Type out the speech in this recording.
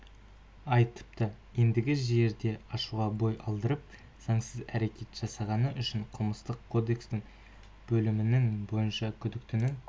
айтыпты ендігі жерде ашуға бой алдырып заңсыз әрекет жасағаны үшін қылмыстық кодексінің бөлімінің бойынша күдіктінің